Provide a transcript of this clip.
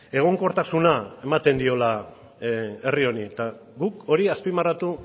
egonkortasuna ematen diola herri honi eta guk hori azpimarratu